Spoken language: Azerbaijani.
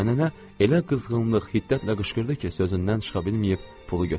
Amma nənə elə qızğınlıq, hiddətlə qışqırdı ki, sözündən çıxa bilməyib pulu götürdüm.